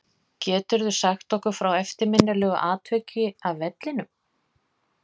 Geturðu sagt okkur frá eftirminnilegu atviki af vellinum?